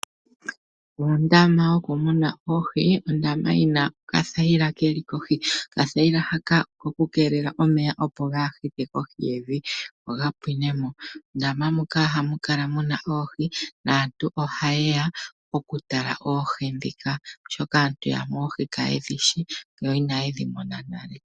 Ondama yokumuna oohi Ondama yi na okathayila ke li kohi. Okathayila haka oko ku keelela omeya kaaga hite mevi ga pwine mo. Mondama muka ohamu kala mu na oohi naantu ohaye ya okutala oohi ndhika, oshoka aantu yamwe oohi kaye dhi shi, inaye dhi mona nale.